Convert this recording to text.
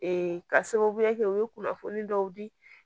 ka sababu kɛ u ye kunnafoni dɔw di